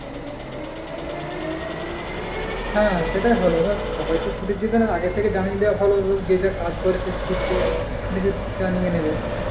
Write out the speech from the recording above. হ্যাঁ সেটাই ভালো গো সবাই তো ছুটি দেবে না আগের থেকে জানিয়ে দেওয়া ভালো যে যার কাজ ছুটিটা নিয়ে নেবে,